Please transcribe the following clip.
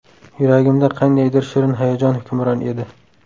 Yuragimda qandaydir shirin hayajon hukmron edi.